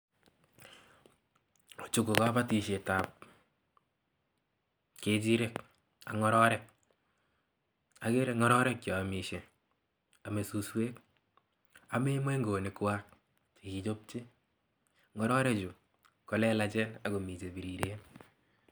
Chuu ko kobotishetab ng'echirek ak ng'ororek, akere ng'ororek cheomishe, omee suswek ameen moing'onikwak chekikichopchi, ng'ororechu komii chelelachen ak komii chebiriren.